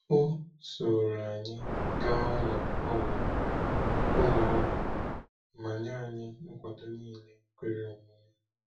O sooro anyị gaa ụlọ ọgwụ ụlọ ọgwụ ma nye anyị nkwado niile kwere omume.